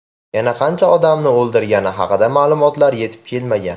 Yana qancha odamni o‘ldirgani haqida ma’lumotlar yetib kelmagan.